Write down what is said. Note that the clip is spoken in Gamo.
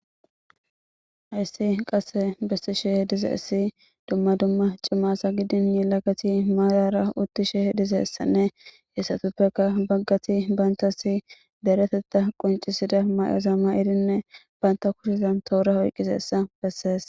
Ayssi qasse bessishe dize issi dumma dumma cima asa gidin yelagati maarara uttishe diza issanne etuppeka baggati bantasi deretetta qoncisida mayoza mayidirinne banta kushizan toora oyqqiza issa besseess.